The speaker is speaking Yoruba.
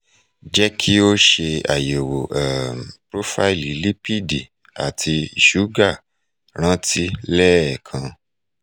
jẹ́ kí o ṣe ayẹ̀wò um profaílì lipidi àti iṣúgà ràntí lẹẹ́kan